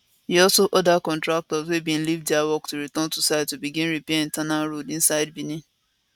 e also order contractors wey bin leave dia work to return to site to begin repair internal roads inside benin